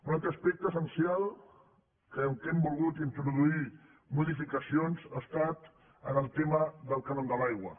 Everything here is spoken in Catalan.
un altre aspecte essencial en què hem volgut introduir modificacions ha estat en el tema del cànon de l’aigua